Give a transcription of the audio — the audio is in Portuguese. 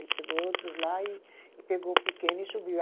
Ele pegou outros lá e e pegou o pequeno e subiu.